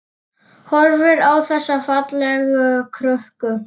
Horfir á þessa fallegu krukku.